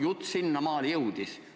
Jutt sinnamaale jõudis ...